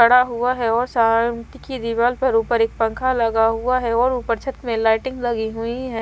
खड़ा हुआ है और शांत की दीवाल पर ऊपर एक पंखा लगा हुआ है और ऊपर छत में लाइटिंग लगी हुई है।